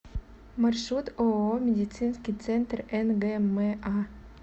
маршрут ооо медицинский центр нгма